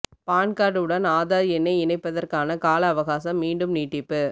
பான் card உடன் ஆதார் எண்ணை இணைப்பதற்கான கால அவகாசம் மீண்டும் நீட்டிப்பு